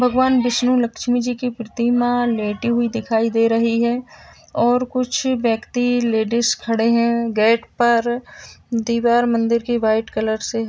भगवान विष्णु लक्ष्मी जी की प्रतिमा लेटी हुई दिखाई दे रही है और कुछ व्यक्ति लेडीस खड़े हैं गेट पर। दीवार मंदिर की व्हाइट कलर से --